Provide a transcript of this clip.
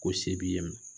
Ko se b'i ye